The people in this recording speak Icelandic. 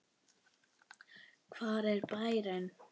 Hver er bærinn?